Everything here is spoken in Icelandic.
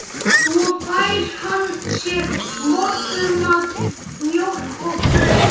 Einsamall, sagði Ari seinlega og benti Suðurnesjamanninum að koma.